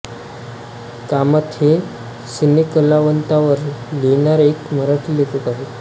कामत हे सिनेकलावंतांवर लिहिणारे एक मराठी लेखक आहेत